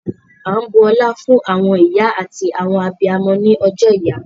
À n bú ọ̀là fún àwọn ìyá àti àwọn abíamọ̀ ní Ọ̀jọ́ Ìyà